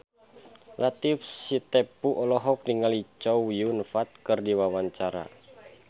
Latief Sitepu olohok ningali Chow Yun Fat keur diwawancara